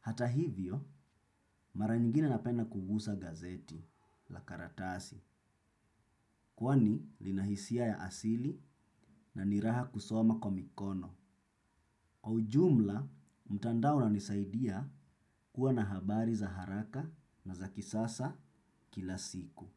Hata hivyo, mara nyingine napenda kugusa gazeti, la karatasi, kwani lina hisia ya asili na ni raha kusoma kwa mikono. Kwa ujumla, mtandao unanisaidia kuwa na habari za haraka na za kisasa kila siku.